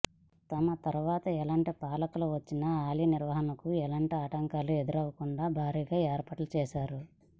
తమ తరువాత ఎలాంటి పాలకులు వచ్చినా ఆలయాల నిర్వహణకు ఎలాంటి ఆటంకాలు ఎదురుకాకుండా భారీగా ఏర్పాట్లు చేశారు